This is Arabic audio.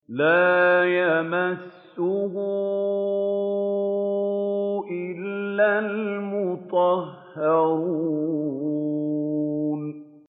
لَّا يَمَسُّهُ إِلَّا الْمُطَهَّرُونَ